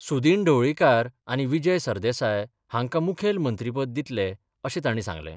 सुदीन ढवळीकार आनी विजय सरदेसाय हांकां मुखेलमंत्रीपद दितले अशें तांणी सांगलें.